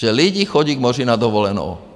Že lidé chodí k moři na dovolenou.